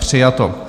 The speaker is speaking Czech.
Přijato.